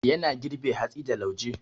Yana girbe hatsi da lauje.